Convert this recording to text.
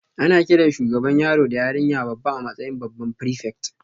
Ana kiran shugaban yaro da yarinya babba a matsayin babban prefect